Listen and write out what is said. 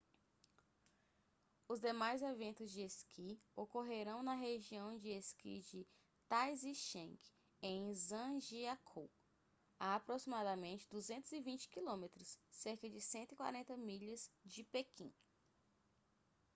os demais eventos de esqui ocorrerão na região de esqui de taizicheng em zhangjiakou a aproximadamente 220 km cerca de 140 milhas de pequim